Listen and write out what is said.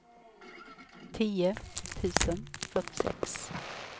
tio tusen fyrtiosex